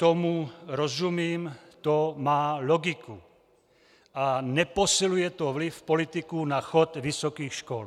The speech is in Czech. Tomu rozumím, to má logiku a neposiluje to vliv politiků na chod vysokých škol.